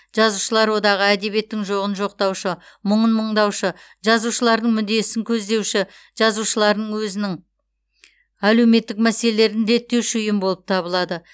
жазушылар одағы әдебиеттің жоғын жоқтаушы мұңын мұңдаушы жазушылардың мүддесін көздеуші жазушылардың өзінің әлеуметтік мәселелерін реттеуші ұйым болып табылады